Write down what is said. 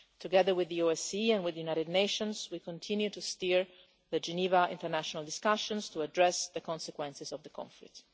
Together with the OSCE and with the United Nations, we continue to steer the Geneva international discussions to address the consequences of the conflict.